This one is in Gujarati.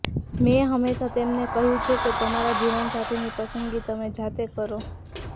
મેં હંમેશા તેમને કહ્યું છે કે તમારા જીવનસાથીની પસંદગી તમે જાતે કરો